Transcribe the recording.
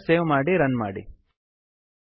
ಫೈಲನ್ನು ಸೇವ್ ಮಾಡಿ ರನ್ ಮಾಡಿ